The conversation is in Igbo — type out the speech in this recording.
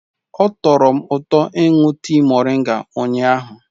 Ọ tọrọ m ụtọ ịṅụ tii moringa ụnyahụ.